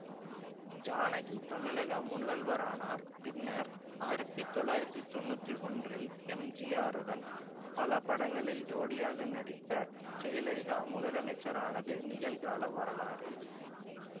ஜானகி தமிழக முதல்வரானார் பின்னர் ஆயிரத்தி தொள்ளயிரத்தி தொனுற்றி ஒன்றில் எம்ஜிஆருடன் பல படங்களில் ஜோடியாக நடித்த ஜெயலலிதா முதலமைச்சரானது நிகழ்கால வரலாறு